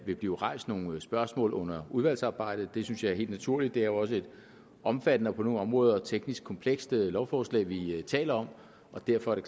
vil blive rejst nogle spørgsmål under udvalgsarbejdet det synes jeg er helt naturligt og det er også et omfattende og på nogle områder teknisk komplekst lovforslag vi taler om og derfor er